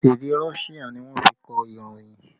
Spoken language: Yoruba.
Èdè Russia ni wọ́n fi kọ ìròyìn